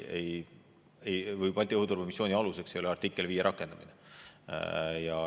Balti õhuturbemissiooni aluseks ei ole artikli 5 rakendamine.